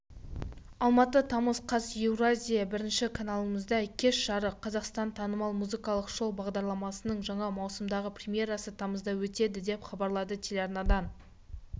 алматы тамыз қаз еуразия бірінші каналындағы кеш жарық қазақстан танымал музыкалық шоу бағдарламасының жаңа маусымдағы премьерасы тамызда өтеді деп хабарлады телеарнадан